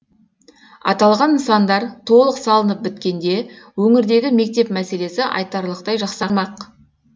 аталған нысандар толық салынып біткенде өңірдегі мектеп мәселесі айтарлықтай жақсармақ